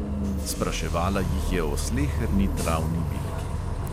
Spraševala jih je o sleherni travni bilki.